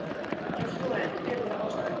Ef svo er hver er þá ástæðan?